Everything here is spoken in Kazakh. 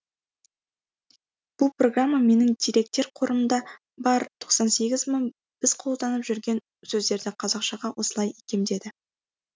бұл программа менің деректер қорымда бар тоқсан сегіз мың біз қолданып жүрген сөздерді қазақшаға осылай икемдеді